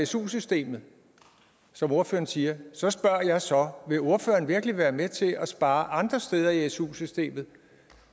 su systemet som ordføreren siger så spørger jeg så vil ordføreren virkelig være med til at spare andre steder i su systemet